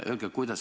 Aitäh!